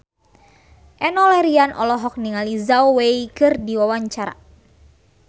Enno Lerian olohok ningali Zhao Wei keur diwawancara